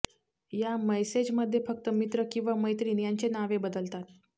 या मैसेजमध्ये फक्त मित्र किंव्हा मैत्रीण यांचे नावे बदलतात